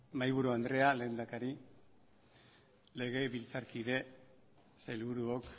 mahaiburu andrea lehendakari legebiltzarkide sailburuok